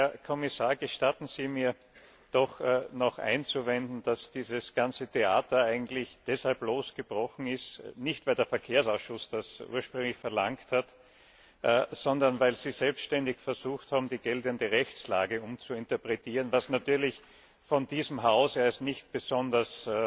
Herr Kommissar, gestatten Sie mir, doch noch einzuwenden, dass dieses ganze Theater eigentlich nicht deshalb losgebrochen ist, weil der Verkehrsausschuss das ursprünglich verlangt hat, sondern weil Sie selbständig versucht haben, die geltende Rechtslage umzuinterpretieren, was natürlich von diesem Haus als nicht besonders